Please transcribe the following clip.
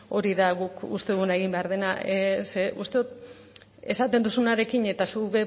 hori da guk uste duguna egin behar dena uste dut esaten duzunarekin eta zuk